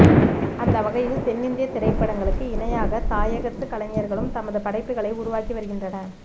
அந்தவகையில் தென்னிந்திய திரைப்படங்களுக்கு இணையாக தாயகத்து கலைஞர்களும் தமது படைப்புக்களை உருவாக்கி வருகின்றன